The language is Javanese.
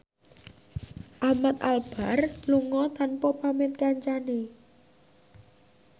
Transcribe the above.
Ahmad Albar lunga tanpa pamit kancane